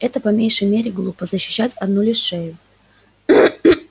это по меньшей мере глупо защищать одну лишь шею